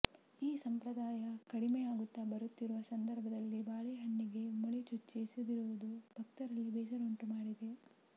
ಈ ಸಂಪ್ರದಾಯ ಕಡಿಮೆ ಆಗುತ್ತಾ ಬರುತ್ತಿರುವ ಸಂದರ್ಭದಲ್ಲಿ ಬಾಳೆಹಣ್ಣಿಗೆ ಮೊಳೆ ಚುಚ್ಚಿ ಎಸೆದಿರುವುದು ಭಕ್ತರಲ್ಲಿ ಬೇಸರ ಉಂಟು ಮಾಡಿದೆ